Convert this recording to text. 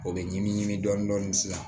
O bɛ ɲimi dɔɔnin sisan